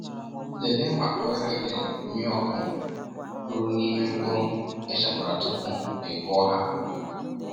Lelee maka oghere ndị mmịọkụ rụrụ n’ime mkpụrụ e chekwara tupu i kụọ ha.